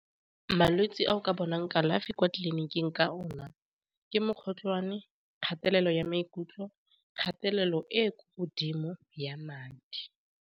Malwetse a o ka bonang kalafi kwa tleliniking ka ona ke mokgotlhwane, kgatelelo ya maikutlo, kgatelelo e kwa godimo ya madi.